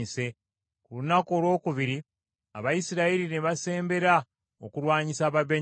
Ku lunaku olwokubiri Abayisirayiri ne basembera okulwanyisa Ababenyamini.